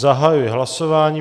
Zahajuji hlasování.